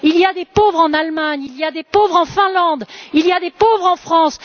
Il y a des pauvres en Allemagne, il y a des pauvres en Finlande et il y a des pauvres en France.